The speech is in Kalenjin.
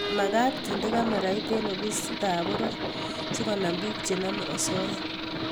makat kendeni kamerait eng ofisit ap poror sikonam pik chenamei osoya